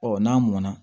Ɔ n'a mɔnna